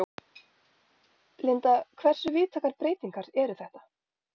Linda, hversu víðtækar breytingar eru þetta?